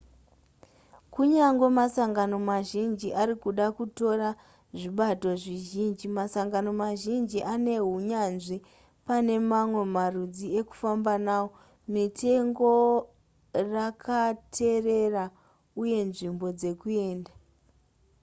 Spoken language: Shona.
kunyangwe masangano mazhinji arikuda kutora zvibato zvizhinji masangano mazhinji anehunyanzvi pane mamwe marudzi ekufamba nawo mitengo rakaterera uye nzvimbo dzekuenda